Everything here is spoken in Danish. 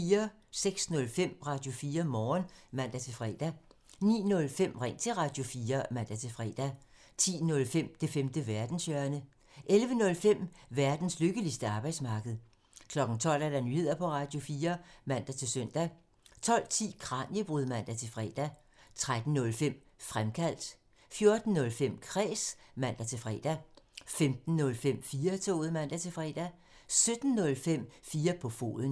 06:05: Radio4 Morgen (man-fre) 09:05: Ring til Radio4 (man-fre) 10:05: Det femte verdenshjørne (man) 11:05: Verdens lykkeligste arbejdsmarked (man) 12:00: Nyheder på Radio4 (man-søn) 12:10: Kraniebrud (man-fre) 13:05: Fremkaldt (man) 14:05: Kræs (man-fre) 15:05: 4-toget (man-fre) 17:05: 4 på foden (man)